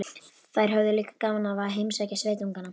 Þær höfðu líka gaman af að heimsækja sveitungana.